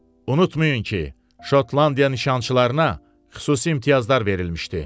Unutmayın ki, Şotlandiya nişançılarına xüsusi imtiyazlar verilmişdi.